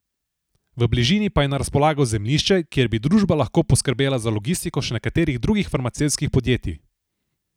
V bližini pa je na razpolago zemljišče, kjer bi družba lahko poskrbela za logistiko še nekaterih drugih farmacevtskih podjetij.